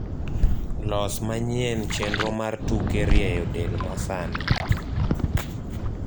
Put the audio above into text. los manyien chenro mar tuke rieyo del masani